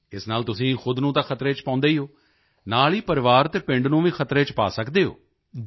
ਇਸ ਨਾਲ ਤੁਸੀਂ ਖੁਦ ਨੂੰ ਤਾਂ ਖਤਰੇ ਵਿੱਚ ਪਾਉਂਦੇ ਹੀ ਹੋ ਨਾਲ ਹੀ ਪਰਿਵਾਰ ਅਤੇ ਪਿੰਡ ਨੂੰ ਵੀ ਖਤਰੇ ਵਿੱਚ ਪਾ ਸਕਦੇ ਹੋ